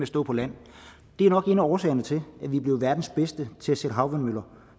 stå på land det er nok en af årsagerne til at vi er blevet verdens bedste til at sætte havvindmøller